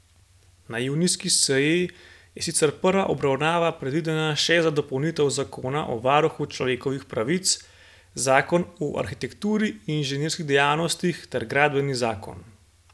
Na junijski seji je sicer prva obravnava predvidena še za dopolnitve zakona o varuhu človekovih pravic, zakon o arhitekturni in inženirski dejavnosti ter gradbeni zakon.